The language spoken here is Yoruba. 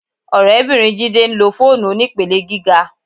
Ọ̀rẹ́bìnrin Jídé ń lo fóònù onípele gíga